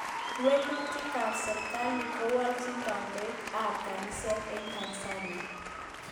Walutik ab serkali Kowolchin kandoik ab kaniset eng Tanzania